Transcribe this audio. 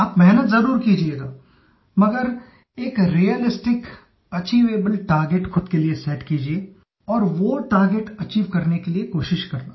आप मेहनत ज़रूर कीजियेगा मगर एक रियलिस्टिक अचीवेबल टार्गेट खुद के लिए सेट कीजिये और वो टार्गेट अचीव करने के लिए कोशिश करना